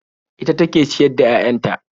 Ita take ciyar da 'ya'yan ta